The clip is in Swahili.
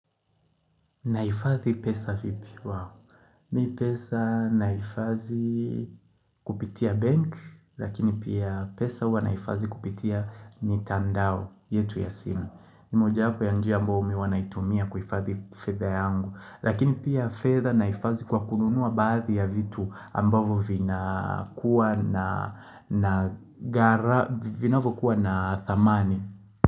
Naifadhi pesa vipi wow. Mimi pesa naifadhi kupitia bank, lakini pia pesa huwa naifadhi kupitia mitandao, yetu ya simu. Ni moja hapa ya njia ambayo mimi huwa naitumia kuifadhi fedha yangu, lakini pia fedha naifadhi kwa kununua baadhi ya vitu ambavo vinakuwa vinavokuwa na thamani.